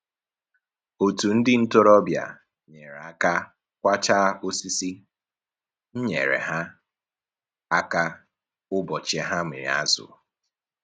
Otu ndị ntoroọbịa nyere aka kwachaa osisi, m nyere ha aka ụbọchị ha mịrị azụ